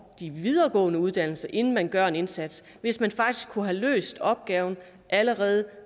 de videregående uddannelser inden man gør en indsats hvis man faktisk kunne have løst opgaven allerede